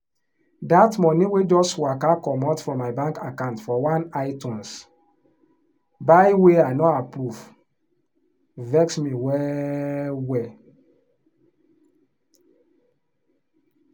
that money wey just waka comot from my bank account for one itunes buy wey i no approve vex me well-well.